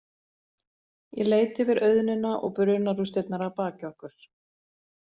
Ég leit yfir auðnina og brunarústirnar að baki okkur.